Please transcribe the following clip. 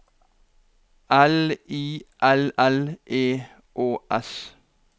L I L L E Å S